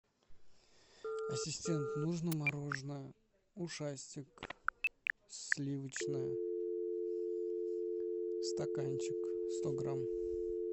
ассистент нужно мороженое ушастик сливочное стаканчик сто грамм